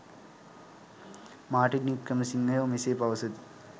Martin වික්‍රමසිංහයෝ මෙසේ පවසති.